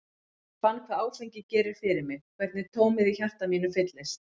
Ég fann hvað áfengi gerir fyrir mig, hvernig tómið í hjarta mínu fyllist.